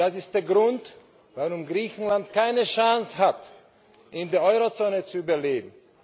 Und das ist der Grund, warum Griechenland keine Chance hat, in der Eurozone zu überleben.